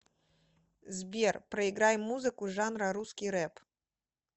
сбер проиграй музыку жанра русский реп